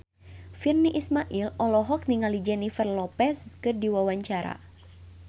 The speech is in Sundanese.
Virnie Ismail olohok ningali Jennifer Lopez keur diwawancara